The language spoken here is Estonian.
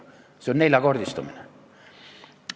See on neljakordistumine.